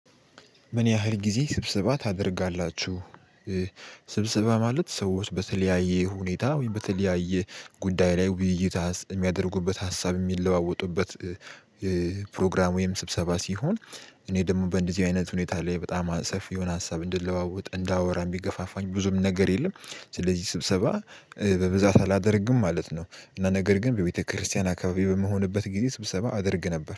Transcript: ምን ያህል ጊዜ ስብስባ ታደርጋላችሁ? ስብስባ ማለት ሰዎች በተለያየ ሁኔታ ወይም በተለያየ ጉዳይ ላይ ውይይት የሚያደርጉበት ሀሳብ የሚለዋወጡበት። ፕሮግራም ወይም ስብሰባ ሲሆን። እኔ ደግሞ በእንደዚህ አይነት ሁኔታ ላይ በጣም ሰፊ የሆነ ሀሳብ እንድለዋወጥ እንዳወራ የሚገፋፋኝ ብዙም ነገር የለም። ስለዚህ ስብሰባ በብዛት አላደርግም ማለት ነው። እና ነገር ግን በቤተክርስቲያን አካባቢ በመሆንበት ጊዜ ስብሰባ አድርግ ነበር